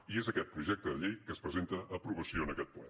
i és aquest projecte de llei que es presenta a aprovació en aquest ple